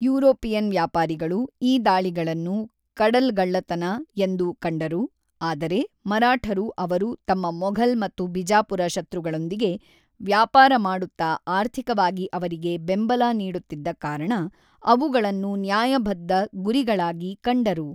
European ವ್ಯಾಪಾರಿಗಳು ಈ ದಾಳಿಗಳನ್ನು ಕಡಲ್ಗಳ್ಳತನ ಎಂದು ಕಂಡರು, ಆದರೆ ಮರಾಠರು ಅವರು ತಮ್ಮ ಮೊಘಲ್ ಮತ್ತು ಬಿಜಾಪುರ ಶತ್ರುಗಳೊಂದಿಗೆ ವ್ಯಾಪಾರ ಮಾಡುತ್ತಾ ಆರ್ಥಿಕವಾಗಿ ಅವರಿಗೆ ಬೆಂಬಲ ನೀಡುತ್ತಿದ್ದ ಕಾರಣ, ಅವುಗಳನ್ನು ನ್ಯಾಯಬದ್ಧ ಗುರಿಗಳಾಗಿ ಕಂಡರು.